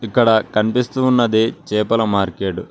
ఇక్కడ కనిపిస్తూ ఉన్నది చేపల మార్కెట్ .